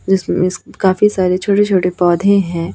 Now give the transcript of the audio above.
जिस्म इस्म काफी छोटे छोटे पौधे हैं।